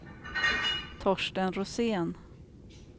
Torsten Rosén